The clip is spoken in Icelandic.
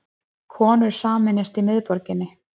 Konur sameinast í miðborginni